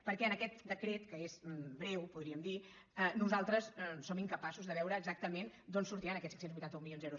perquè en aquest decret que és breu podríem dir nosaltres som incapaços de veure exactament d’on sortiran aquests cinc cents i vuitanta un milions d’euros